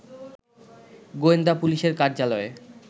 গোয়েন্দা পুলিশের কার্যালয়ে